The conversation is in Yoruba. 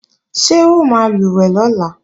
Ṣé o máa lùwẹ̀ lọ́la?